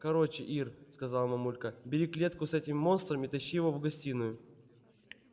короче ир сказала мамулька бери клетку с этим монстром и тащи его в гостиную